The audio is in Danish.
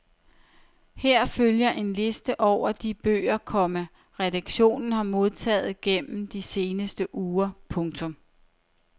Her følger en liste over de bøger, komma redaktionen har modtaget gennem de seneste uger. punktum